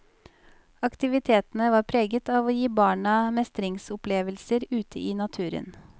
Aktivitene var preget av å gi barna mestringsopplevelser ute i naturen.